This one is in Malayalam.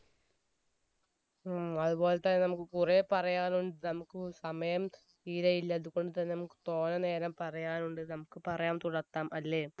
ഉം അതുപോലെ തന്നെ നമ്മക്ക് കൊറേ പറയാനുണ്ട് നമുക്ക് സമയം തീരെ ഇല്ല അതുകൊണ്ട് തന്നെ നമുക്ക് തോര നേരം പറയാനുണ്ട് നമുക്ക് പറയാം തുടത്താം അല്ലെ